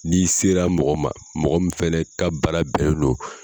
N'i sera mɔgɔ man mɔgɔ min fɛnɛ ka baara bɛnnen do